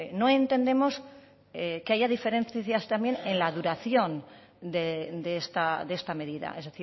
no entendemos que haya diferencias también en la duración de esta medida es